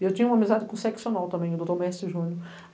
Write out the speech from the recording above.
E eu tinha uma amizade com o seccional também, o doutor Mércio Júnior.